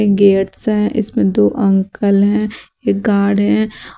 Gets हैं इसमें दो अंकल हैं एक गार्ड हैं।